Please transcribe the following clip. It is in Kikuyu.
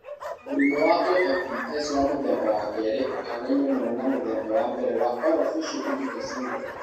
Mũrimũ wa OFDS wa mũthemba wa 2 ũhaanaine mũno na wa mũthemba wa mbere wa oral facial digital syndrome (OFDS).